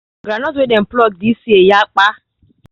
groundnut wey dey pluck this year yapa